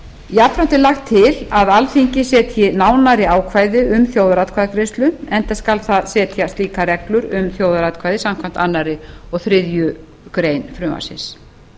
jafnframt er lagt til að alþingi setji nánari ákvæði um þjóðaratkvæðagreiðslu enda skal það setja slíkar reglur um þjóðaratkvæði samkvæmt öðrum og þriðju greinar frumvarpsins